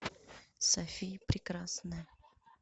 софия прекрасная